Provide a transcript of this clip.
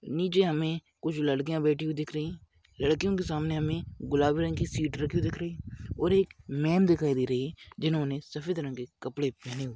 नीचे हमें कुछ लड़कियां बैठी हुई दिख रही लड़कियों के सामने हमें गुलाबी रंग की सीट रखी हुई दिख रही है और एक मैंम दिखाई दे रही जिन्होंने सफेद रंग के कपड़े पहने हुए--